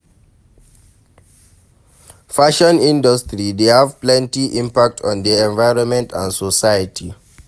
Fashion industry dey have plenty impact on di envionment and society.